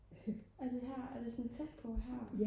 er det her er det sådan tæt på her?